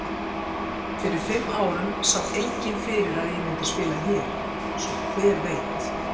Fyrir fimm árum sá enginn fyrir að ég myndi spila hér. svo hver veit?